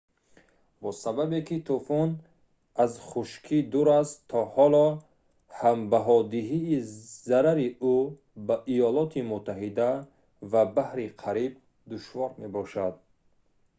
бо сабабе ки тӯфон аз хушкӣ дур аст то ҳоло ҳам баҳодиҳии зарари ӯ ба иёлоти муттаҳида ва баҳри кариб душвор мебошад